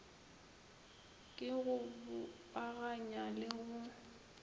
ke go bopaganya le go